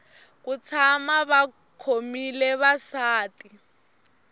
ku tshama va khomile vasati